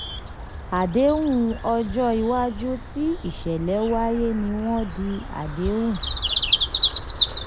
àdéhùn ọjọ́ iwájú tí ìṣẹ̀lẹ̀ wáyé ni wọ́n di àdéhùn.